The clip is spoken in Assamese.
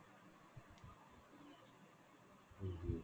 উম উম